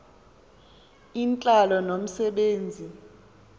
intlalo nomse benzi